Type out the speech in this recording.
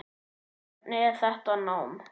Hvernig er þetta nám?